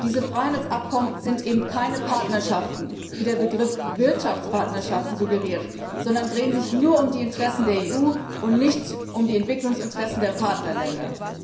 Diese Freihandelsabkommen sind eben keine Partnerschaften, wie der Begriff Wirtschaftspartnerschaften suggeriert, sondern drehen sich nur um die Interessen der EU und nicht um die Entwicklungsinteressen der Partnerländer.